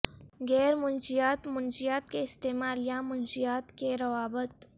غیر منشیات منشیات کے استعمال یا منشیات کے روابط